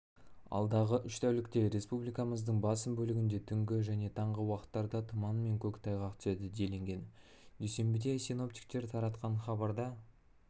алдағы үш тәулікте республикамыздың басым бөлігінде түнгі және таңғы уақыттарда тұман мен көктайғақ түседі делінген дүйсенбіде синоптиктер таратқан хабарда